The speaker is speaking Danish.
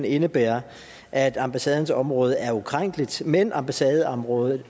indebærer at ambassadens område er ukrænkeligt men at ambassadeområdet